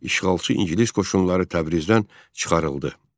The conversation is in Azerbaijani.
İşğalçı ingilis qoşunları Təbrizdən çıxarıldı.